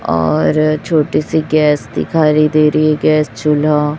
और छोटी सी गैस दिखारी दे रही है गैस चूल्हा--